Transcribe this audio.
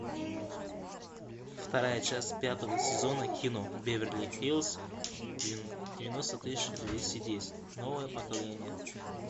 вторая часть пятого сезона кино беверли хиллз девяносто тысяч двести десять новое поколение